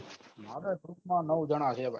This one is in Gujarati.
આપડા group માં નવ જના છે ભાઈ